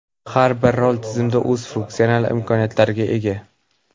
Har bir rol tizimda o‘z funksional imkoniyatlariga ega.